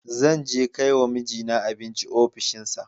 Zan je kai wa mijina abinci a ofishinsa.